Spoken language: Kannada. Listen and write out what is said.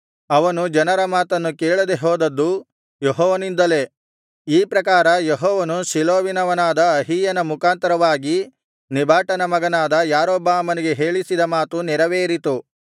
ಅವನು ಜನರ ಮಾತನ್ನು ಕೇಳದೇ ಹೋದದ್ದು ಯೆಹೋವನಿಂದಲೇ ಈ ಪ್ರಕಾರ ಯೆಹೋವನು ಶಿಲೋವಿನವನಾದ ಅಹೀಯನ ಮುಖಾಂತರವಾಗಿ ನೆಬಾಟನ ಮಗನಾದ ಯಾರೊಬ್ಬಾಮನಿಗೆ ಹೇಳಿಸಿದ ಮಾತು ನೆರವೇರಿತು